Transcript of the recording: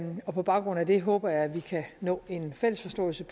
og på baggrund af det håber jeg at vi kan nå en fælles forståelse